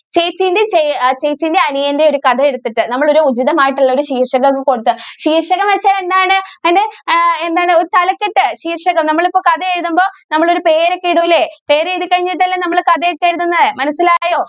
ചേച്ചീന്റെയും, ചേ അഹ് ചേച്ചീന്റെ അനിയന്റെയും ഒരു കഥ എടുത്തിട്ട് നമ്മള് ഒരു ഉചിതമായിട്ടുള്ള ഒരു ശീര്‍ഷകം ഒക്കെ കൊടുത്ത് ശീര്‍ഷകം വച്ചാല്‍ എന്താണ്? അതിന്‍റെ ആഹ് എന്താണ് ഒരു തലക്കെട്ട്‌ ശീര്‍ഷകം. നമ്മള് ഇപ്പം കഥയെഴുതുമ്പോ നമ്മള് ഒരു പേരൊക്കെ ഇടൂലേ. പേരെഴുതിക്കഴിഞ്ഞിട്ടല്ലേ നമ്മള് കഥയൊക്കെ എഴുതുന്നേ. മനസിലായോ.